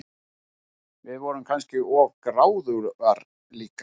Við vorum kannski of gráðugar líka.